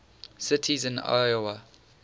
cities in iowa